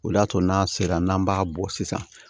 O de y'a to n'a sera n'an b'a bɔ sisan